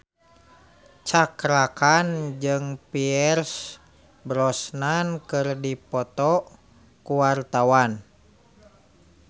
Cakra Khan jeung Pierce Brosnan keur dipoto ku wartawan